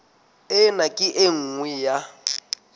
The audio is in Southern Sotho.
ena ke e nngwe ya